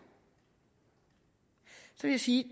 vil jeg sige